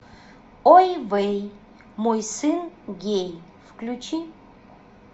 ой вэй мой сын гей включи